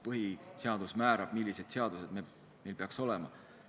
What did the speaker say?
Põhiseadus määrab, millised seadused meil peaks olema.